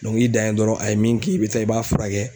i dan ye dɔrɔn a ye min kin i bi taa i b'a fura kɛ.